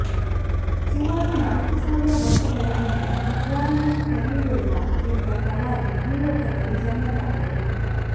ಸುಮಾರು ನಾಲ್ಕುಸಾವಿರ ವರ್ಷಗಳ ಹಿಂದೆ ಇಬ್ರಾಹಿಮ್ ಖಲೀಲುಲ್ಲಾ ಎಂಬ ಪ್ರವಾದಿ ಭೂಲೋಕದಲ್ಲಿ ಜನ್ಮತಾಳಿದರು